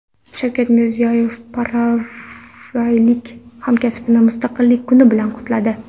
Shavkat Mirziyoyev paragvaylik hamkasbini mustaqillik kuni bilan qutladi.